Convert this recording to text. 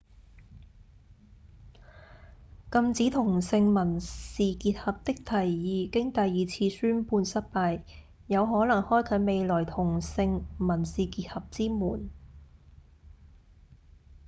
禁止同性民事結合的提議經第二次宣判失敗有可能開啟未來同性民事結合之門